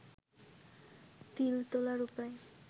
তিল তোলার উপায়